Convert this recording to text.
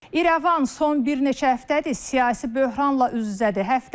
İrəvan son bir neçə həftədir siyasi böhranla üz-üzədir.